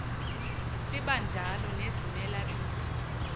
sibanjalo nezimela bizo